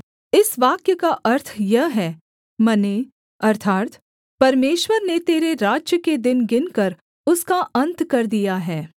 इस वाक्य का अर्थ यह है मने अर्थात् परमेश्वर ने तेरे राज्य के दिन गिनकर उसका अन्त कर दिया है